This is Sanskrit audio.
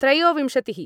त्रयोविंशतिः